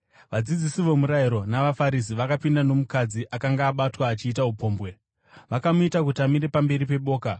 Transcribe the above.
Vadzidzisi vomurayiro navaFarisi vakapinda nomukadzi akanga abatwa achiita upombwe. Vakamuita kuti amire pamberi peboka